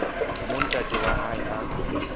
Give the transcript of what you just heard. moo ntate wa hae a